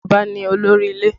Bàbá ni olórí ilé